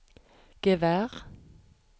gevær